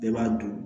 Bɛɛ b'a dun